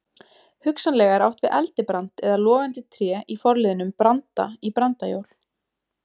Hugsanlega er átt við eldibrand eða logandi tré í forliðnum branda- í brandajól.